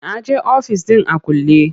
Na je ofis ɗin a kulle.